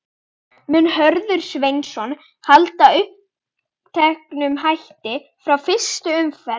Mun Hörður Sveinsson halda uppteknum hætti frá fyrstu umferð?